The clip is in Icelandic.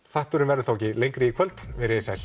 þátturinn verður þá ekki lengri í kvöld veriði sæl